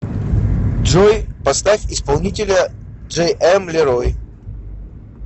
джой поставь исполнителя джейэм лерой